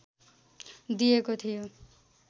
दिेएको थियो